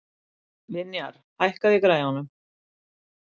Vinjar, hækkaðu í græjunum.